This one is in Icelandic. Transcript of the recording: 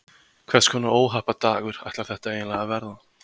Hvers konar óhappadagur ætlar þetta eiginlega að verða?